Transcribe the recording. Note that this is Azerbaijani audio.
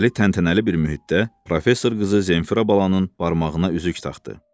Şəpbəli təntənəli bir mühitdə professor qızı Zenfira balanın barmağına üzük taxdı.